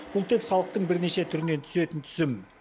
бұл тек салықтың бірнеше түрінен түсетін түсім